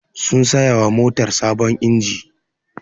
Sun saya wa motar sabon inji